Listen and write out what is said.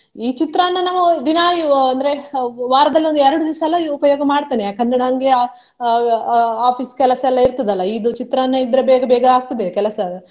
ಈ ಚಿತ್ರಾನ್ನ ನಾವು ದಿನಾ ಅಹ್ ಅಂದ್ರೆ ವಾರದಲ್ಲಿ ಒಂದು ಎರ್ಡ್ ದಿವ್ಸ ಎಲ್ಲ ಉಪಯೋಗ ಮಾಡ್ತೇನೆ ಯಾಕಂದ್ರೆ ನನ್ಗೆ ಅಹ್ ಅಹ್ office lang Foreign ಕೆಲಸ ಎಲ್ಲ ಇರ್ತದಲ್ಲ ಇದು ಚಿತ್ರಾನ್ನ ಇದ್ರೆ ಬೇಗ ಬೇಗ ಆಗ್ತದೆ ಕೆಲಸ.